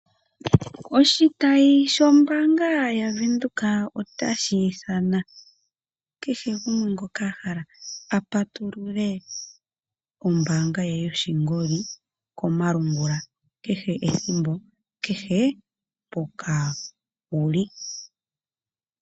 Oshitayi shombaanga yavenduka otashi ithana kehe gumwe ngoka ahala apatulule ombaanga ye yoshingoli komalungula kehe ethimbo kehe mpoka wuli.